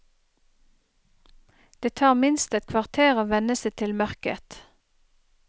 Det tar minst et kvarter å venne seg til mørket.